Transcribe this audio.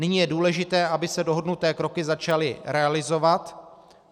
Nyní je důležité, aby se dohodnuté kroky začaly realizovat.